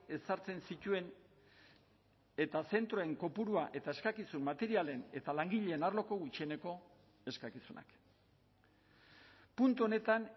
ezartzen zituen eta zentroen kopurua eta eskakizun materialen eta langileen arloko gutxieneko eskakizunak puntu honetan